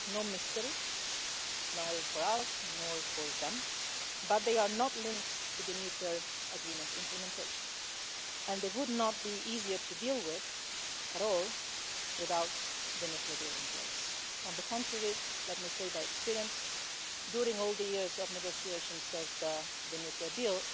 This is no mystery either for us, or for them but they are not linked to the nuclear agreement implementation and they would not be easier to deal with at all without the nuclear deal in place. On the contrary, let me say by experience that during all the years of negotiations of the nuclear